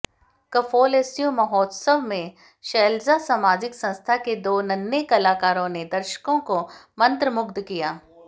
कफोलस्यूं महोत्सव में शैलजा सामाजिक संस्था के दो नन्हें कलाकारों ने दर्शकों को मंत्रमुग्ध किया